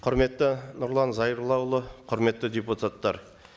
құрметті нұрлан зайроллаұлы құрметті депутаттар